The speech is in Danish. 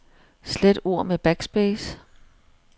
Slet ord med backspace.